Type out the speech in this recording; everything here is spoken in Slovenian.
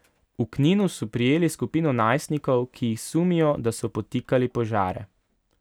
V Kninu so prijeli skupino najstnikov, ki jih sumijo, da so podtikali požare.